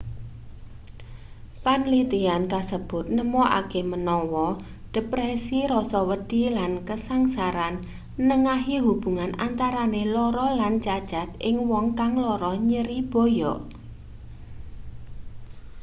panlitian kasebut nemokake menawa depresi rasa wedi lan kasangsaran nengahi hubungan antarane lara lan cacat ing wong kang lara nyeri boyok